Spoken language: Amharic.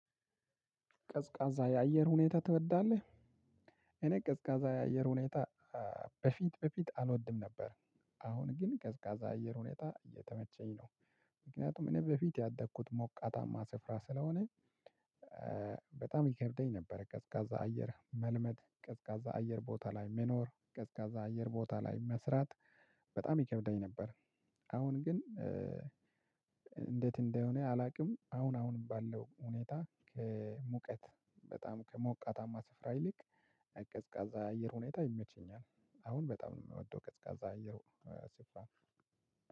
ቀዝቃዛ የአየር ሁኔታ ትወዳለህ? እኔ ቀዝቃዛ የአየር ሁኔታ በፊት በፊት አልወድም ነበር። አሁን ግን ቀዝቃዛ አየር ሁኔታ እየተመቸኝ ነው። ምክንያቱም እኔ በፊት ያደግኩት ሞቃታማ ስፍራ ስለሆነ። በጣም ይከብደኝ ነበር ቀዝቃዛ አየር መልመድ ቀዝቃዛ አየር ቦታ ላይ መኖር ቀዝቃዛ አየር ቦታ ላይ መስራት በጣም ይከብደኝ ነበር። አሁን ግን እንደት እንደሆነ አላውቅም አሁን አሁን ባለው ሁኔታ ከሙቀት በጣም ከሞቃታማ ስፍራ ይልቅ ቀዝቃዛ አየር ሁኔታ ይመቸኛል አሁን በጣም ነው የምወደው። ቀዝቃዛ አየር ሲባል